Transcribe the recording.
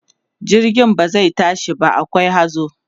jirgin ba zai tashi ba akwai hazo